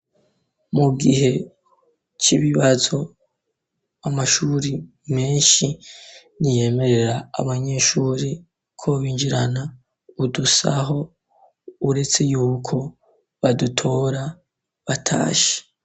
Mu gihe c'ibibazo amashuri menshi ntiyemerera abanyeshuri ko binjirana udusaho uretse yuko badutora batashe.